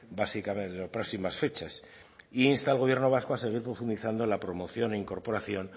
en próximas fechas e insta al gobierno vasco a seguir profundizando en la promoción e incorporación